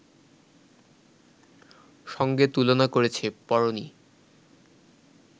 সঙ্গে তুলনা করেছে, পড়োনি